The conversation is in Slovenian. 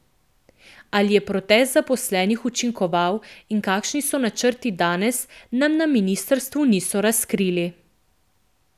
Ali je protest zaposlenih učinkoval in kakšni so načrti danes, nam na ministrstvu niso razkrili.